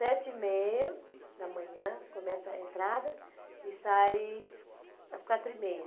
Sete e meia da manhã, começa a entrada e sai às quatro e meia.